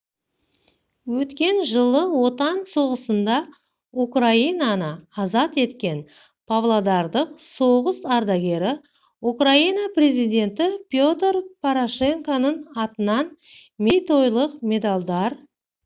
өткен жылы отан соғысында украинаны азат еткен павлодарлық соғыс-ардагері украина президенті петр порошенконың атынан мерейтойлық медальдар